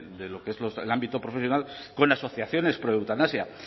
de lo que es el ámbito profesional con asociaciones proeutanasia